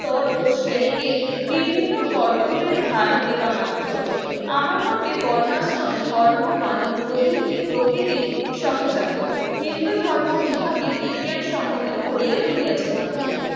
তর ও শ্রেণীকে বিভিন্ন কর্তব্যের ভার দেবা মাত্র আমার মতে বর্ণাশ্রম ধর্ম মানো প্রবৃত্তি প্রকৃতির সহজাত হিন্দু ধর্ম ইহাকে বিজ্ঞানসম্মত করিয়া তুলিয়াছে মাত্র।